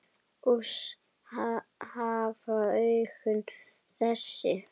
Oss hafa augun þessi